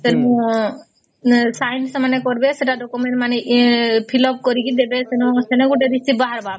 ତେଣୁ sign ସେମାନେ କାରବେ ସେଟା document ମାନେ fill up କରିକେ ଦେବେ ସେନ ଗୋଟେ receipt ବାହାରିବା